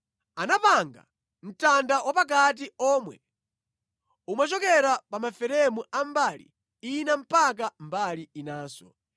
Anapanga mtanda wapakati omwe umachokera pa maferemu a mbali ina mpaka mbali inanso.